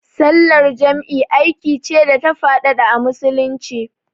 Sallar jam'i aiki ce da ta faɗaɗa a Musulunci.